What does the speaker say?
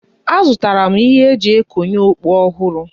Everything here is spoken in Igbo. Azụtara m ihe e ji ekonye okpu ọhụrụ.